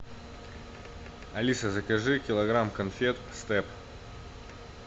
алиса закажи килограмм конфет степ